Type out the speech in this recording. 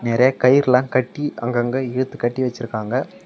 நெறைய கயிற்லா கட்டி அங்கங்க இழுத்து கட்டி வெச்சுருக்காங்க.